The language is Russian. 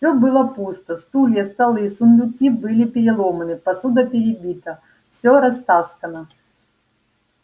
все было пусто стулья столы сундуки были переломаны посуда перебита все растаскано